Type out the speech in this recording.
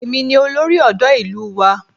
Èmi ni olórí ọ̀dọ́ ìlú wa